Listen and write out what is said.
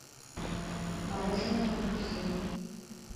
мороженое буржуй